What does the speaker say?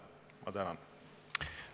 Ma tänan!